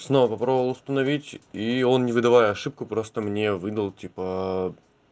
снова попробовала установить и он не выдавая ошибку просто мне выдал типа